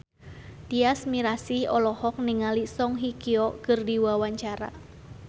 Tyas Mirasih olohok ningali Song Hye Kyo keur diwawancara